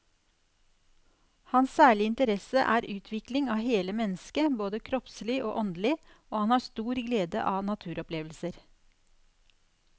Hans særlige interesse er utvikling av hele mennesket både kroppslig og åndelig, og han har stor glede av naturopplevelser.